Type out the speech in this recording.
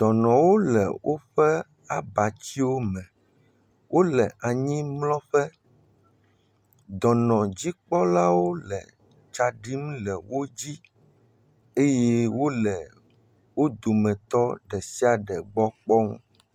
Dɔnɔwo le woƒe abatsiwome, wole anyimlɔƒe. Dɔnɔdzikpɔlawo le tsa ɖim le wo dzi eye wole wo dometɔ ɖe sia ɖe gbɔ kpɔm.